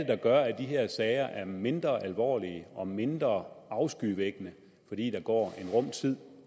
der gør at de her sager er mindre alvorlige og mindre afskyvækkende fordi der går en rum tid